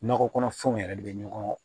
Nakɔ kɔnɔfɛnw yɛrɛ de bɛ ɲɔgɔn